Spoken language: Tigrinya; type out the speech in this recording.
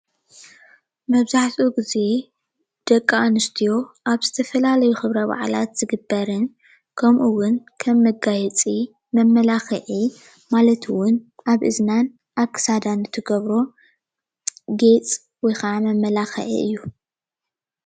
መብዛሕቲኡ ግዜ ደቂ ኣንስትዮ ኣብ ዝተፈላለዩ ክብረ ባዕላት ዝግበርን ከምኡ እውን ከምመጋየፂ መመላክዒ ማለት እውን ኣብ እዝናን ኣብ ክሳዳን ትገብሮ ጌፅ ወይ ከዓ መመላክዒ እዩ።